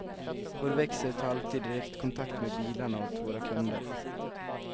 Vår växel tar alltid direktkontakt med bilarna åt våra kunder.